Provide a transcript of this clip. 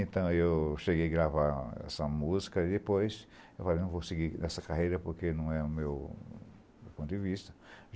Então, eu cheguei a gravar essa música e, depois, eu falei, não vou seguir nessa carreira porque não é o meu meu ponto de vista.